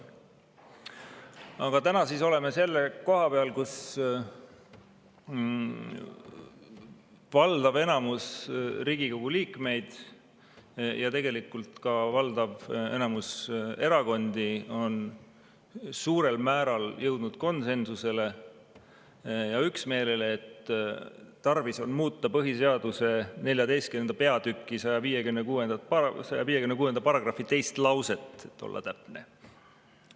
Aga täna oleme selle koha peal, kus valdav enamus Riigikogu liikmeid ja tegelikult ka valdav enamus erakondi on suurel määral jõudnud konsensusele, üksmeelele, et tarvis on muuta põhiseaduse XIV. peatüki § 156 teist lõiku, et olla täpne.